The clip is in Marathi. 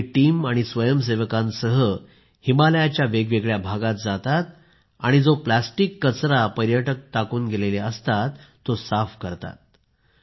ते आपली टीम आणि स्वयंसेवकांसह हिमालयाच्या वेगवेगळ्या भागात जातात आणि जो प्लास्टिक कचरा पर्यटक टाकून गेलेले असतात तो साफ करतात